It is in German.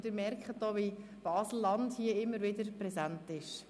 Und Sie merken sicher auch, wie Baselland hier immer wieder präsent ist: